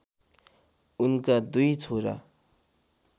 उनका दुई छोरा